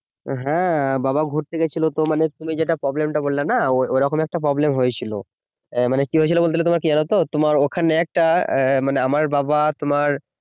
হ্যাঁ বাবা ঘুরতে গেছিল তো তুমি যেটা problem টা বললে না ওরকম একটা problem হয়েছিল আহ মানে কি হয়েছিল বলতো গেলে মানে কি বলতো তোমার ওখানে একটা আমার বাবা তোমার